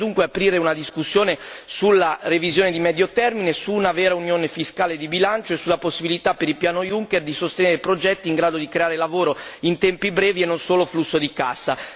Bisogna dunque aprire una discussione sulla revisione di medio termine e su una vera unione fiscale di bilancio e sulla possibilità per il Piano Juncker di sostenere progetti in grado di creare lavoro in tempi brevi e non solo flusso di cassa.